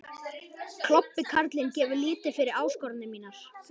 Klobbi karlinn gefur lítið fyrir áskoranir mínar.